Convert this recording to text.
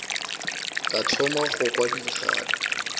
ka thoma go kwa dikgato